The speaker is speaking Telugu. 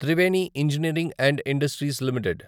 Triveni engineering and industries limited